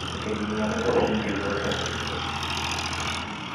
Nĩ tũgiginyane tũhingie iroto ciitũ